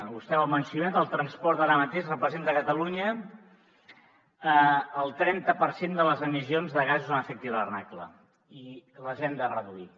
vostè ho ha mencionat el transport ara mateix representa a catalunya el trenta per cent de les emissions de gasos d’efecte hivernacle i les hem de reduir